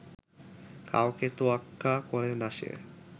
কাউকে তোয়াক্কা করে না সে